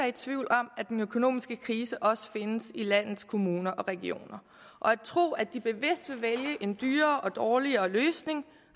i tvivl om at den økonomiske krise også findes i landets kommuner og regioner og at tro at de bevidst vil vælge en dyrere og dårligere løsning